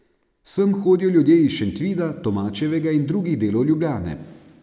Sem hodijo ljudje iz Šentvida, Tomačevega in drugih delov Ljubljane.